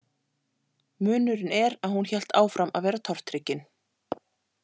Munurinn er að hún hélt áfram að vera tortryggin.